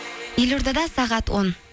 елордада сағат он